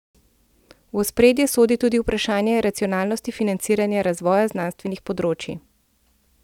V ospredje sodi tudi vprašanje racionalnosti financiranja razvoja znanstvenih področij.